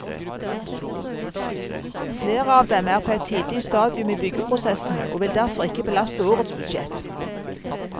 Flere av dem er på et tidlig stadium i byggeprosessen og vil derfor ikke belaste årets budsjett.